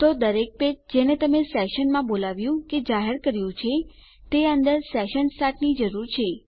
તો દરેક પેજ જેને તમે સેશનમાં બોલાવ્યું કે જાહેર કર્યું છે તે અંદર સેશન સ્ટાર્ટ ની જરૂર છે